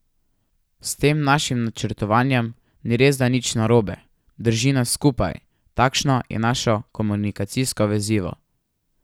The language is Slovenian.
S tem našim načrtovanjem ni resda nič narobe, drži nas skupaj, takšno je naše komunikacijsko vezivo.